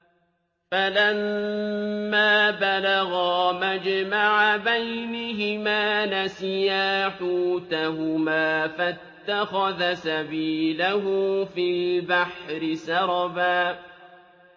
فَلَمَّا بَلَغَا مَجْمَعَ بَيْنِهِمَا نَسِيَا حُوتَهُمَا فَاتَّخَذَ سَبِيلَهُ فِي الْبَحْرِ سَرَبًا